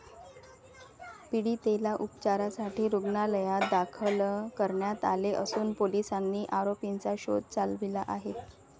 पीडितेला उपचारासाठी रुग्णालयात दाखल करण्यात आले असून पोलिसांनी आरोपींचा शोध चालविला आहे.